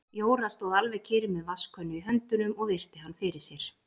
Jóra stóð alveg kyrr með vatnskönnu í höndunum og virti hann fyrir sér.